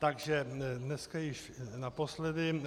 Takže dneska již naposledy.